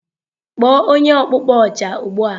Kpọọ onye ọkpụkpọ Oja ugbu a!